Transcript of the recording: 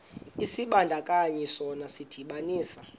isibandakanyi sona sidibanisa